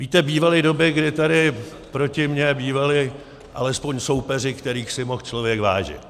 Víte, bývaly doby, kdy tady proti mně bývali alespoň soupeři, kterých si mohl člověk vážit.